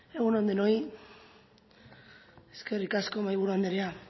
egun on denoi eskerrik asko mahaiburu anderea